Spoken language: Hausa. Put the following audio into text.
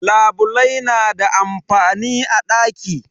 Labulai na da amfani a daki.